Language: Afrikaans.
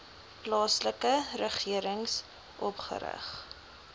plaaslike regering opgerig